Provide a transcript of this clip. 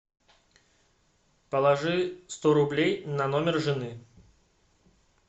положи сто рублей на номер жены